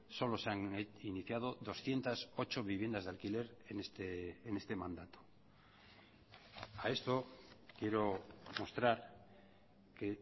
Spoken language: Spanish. solo se han iniciado doscientos ocho viviendas de alquiler en este mandato a esto quiero mostrar que